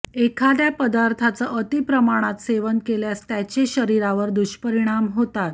एखाद्या पदार्थाचं अतिप्रमाणात सेवन केल्यास त्याचे शरीरावर दुष्परिणाम होतात